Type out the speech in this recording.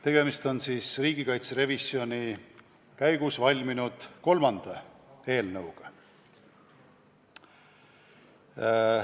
Tegemist on riigikaitse revisjoni käigus valminud kolmanda eelnõuga.